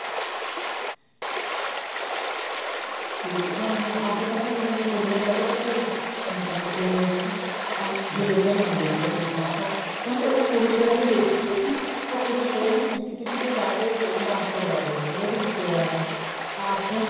ਤੇ ਹੁਣ ਨਾ ਅੱਜਕਲ ਤਾਂ ਕੁੜੀਆਂ ਹੁਣ ਪਹਿਲੇ ਤਾਂ ਭਾਈ ਮਤਲਬ ਕੇ ਹਿੱਲਦੀਆਂ ਨੀ ਹੁੰਦੀਆਂ ਸੀ ਆਪਣੀ ਥਾਂ ਤੋਂ ਮੈਂ ਉਸ ਕੁੜੀ ਵੱਲ ਵੀ ਦੇਖੀ ਗਈ ਉਹ ਕੁੜੀ ਹਰੇਕ ਨੂੰ ਹਰੇਕ ਨੂੰ ਖਿੱਚ ਖਿੱਚ ਕੇ ਜਾਕੇ dance ਕਰਵਾਵੇ ਹਰ ਇੱਕ ਰਿਸ਼ਤੇਦਾਰ ਨੂੰ ਆਪਣਾ